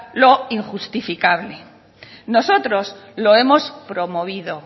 lo injustificable nosotros lo hemos promovido